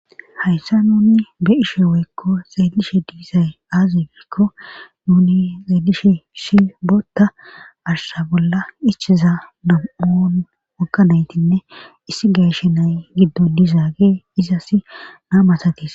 Hayssa nuni be ishe weykko zaelishe diisay aazi wiikko nuni zaedishe shi bootta ashsha bolla ichiza nam7on wokka naytinne issi geeshe nay giddon dizaage izasi naamasatiis.